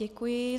Děkuji.